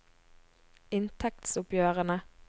inntektsoppgjørene